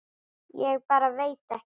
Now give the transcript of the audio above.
Ég bara veit ekki.